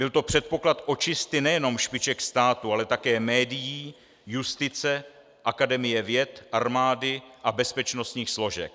Byl to předpoklad očisty nejenom špiček státu, ale také médií, justice, Akademie věd, armády a bezpečnostních složek.